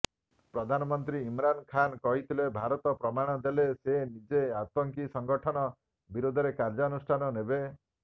ପ୍ରଧାନମନ୍ତ୍ରୀ ଇମ୍ରାନ ଖାନ କହିଥିଲେ ଭାରତ ପ୍ରମାଣ ଦେଲେ ସେ ନିଜେ ଆତଙ୍କୀ ସଂଗଠନ ବିରୋଧରେ କାର୍ଯ୍ୟାନୁଷ୍ଠାନ ନେବେ